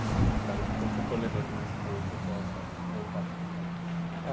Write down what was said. E espero que quando você for lembrando de mais coisas, você possa voltar para contar mais.